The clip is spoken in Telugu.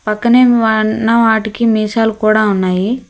పక్కనే ఉన్న వాటికి మీసాలు కూడా ఉన్నాయి.